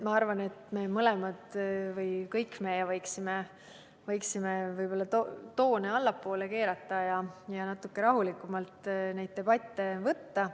Ma arvan, et me mõlemad või me kõik võiksime toone allapoole keerata ja neid debatte natuke rahulikumalt võtta.